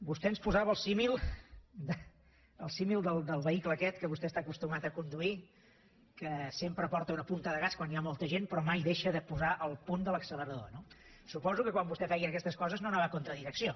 vostè ens posava el símil el símil del vehicle aquest que vostè està acostumat a conduir que sempre porta una punta de gas quan hi ha molta gent però mai deixa de posar el punt de l’accelerador no suposo que quan vostè feia aquestes coses no anava en contra direcció